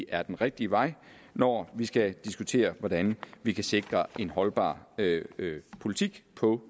er den rigtige vej når vi skal diskutere hvordan vi kan sikre en holdbar politik på